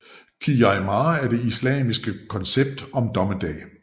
Qiyâmah er det islamske koncept om dommedag